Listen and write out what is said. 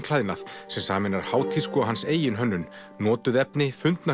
klæðnað sem sameinar hátísku og hans eigin hönnun notuð efni